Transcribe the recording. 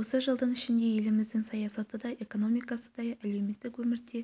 осы жылдың ішінде еліміздің саясаты да экономикасы да әлеуметтік өмірде